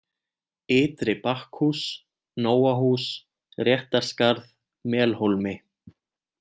Ytri-Bakkhús, Nóahús, Réttarskarð, Melhólmi